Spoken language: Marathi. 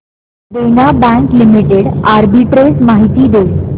देना बँक लिमिटेड आर्बिट्रेज माहिती दे